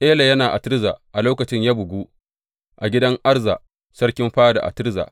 Ela yana a Tirza a lokacin, ya bugu a gidan Arza, sarkin fada a Tirza.